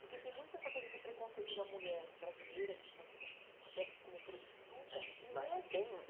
porque tem muito essa coisa do preconceito da mulher brasileira, vista como, até como prostituta... É, mas tem E mesmo